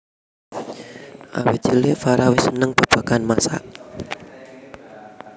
Awit cilik Farah wis seneng babagan masak